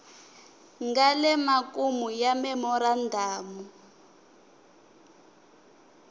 nga le makumu ka memorandamu